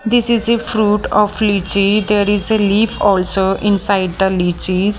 this is a fruit of lychee there is a leaf also inside the lychees.